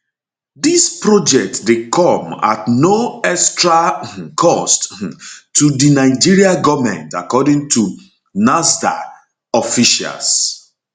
dis project dey come at no extra um cost um to di di nigeria goment according to nasrda officials